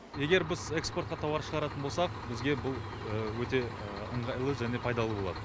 егер біз экспортқа тауар шығаратын болсақ бізге бұл өте ыңғайлы және пайдалы болады